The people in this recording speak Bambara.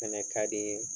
Fɛnɛ ka di